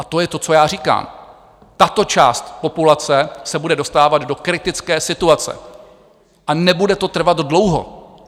A to je to, co já říkám: Tato část populace se bude dostávat do kritické situace a nebude to trvat dlouho.